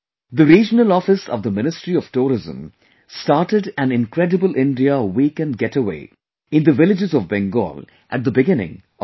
The regional office of the Ministry of Tourism started an 'Incredible India Weekend Getaway' in the villages of Bengal at the beginning of the month